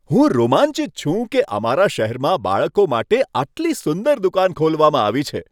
હું રોમાંચિત છું કે અમારા શહેરમાં બાળકો માટે આટલી સુંદર દુકાન ખોલવામાં આવી છે.